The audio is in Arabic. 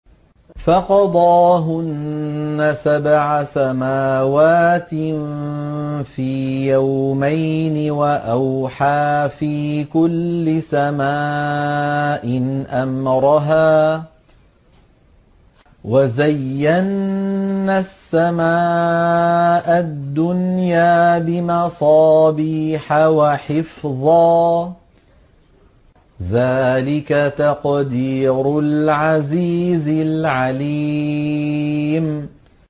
فَقَضَاهُنَّ سَبْعَ سَمَاوَاتٍ فِي يَوْمَيْنِ وَأَوْحَىٰ فِي كُلِّ سَمَاءٍ أَمْرَهَا ۚ وَزَيَّنَّا السَّمَاءَ الدُّنْيَا بِمَصَابِيحَ وَحِفْظًا ۚ ذَٰلِكَ تَقْدِيرُ الْعَزِيزِ الْعَلِيمِ